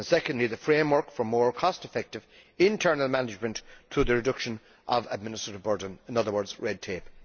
secondly, the framework for more cost effective internal management leading to the reduction of administration burden in other words, red tape.